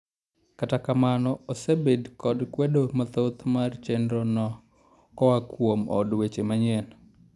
Kata kamano osebed kod kwedo mathoth mar chendro no koaa kuom od weche manyien.